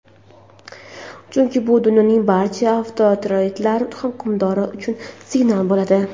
chunki bu dunyoning barcha avtoritar hukmdorlari uchun signal bo‘ladi.